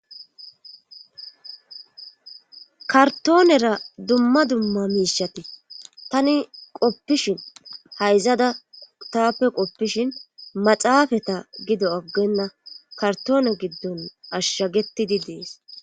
kartoonera dumma dumma miishati tani qoppishin hayzada taappe qoppishin maxaafata gido aggenna kartoone giddon ashshagettidi dees